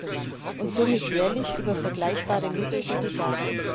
EUR und somit jährlich über vergleichbare Mittel wie die GASP.